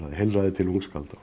heilræði til ungskálda